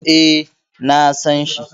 E, na san shi.